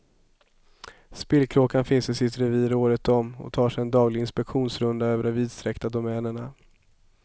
Spillkråkan finns i sitt revir året om och tar sig en daglig inspektionsrunda över de vidsträckta domänerna.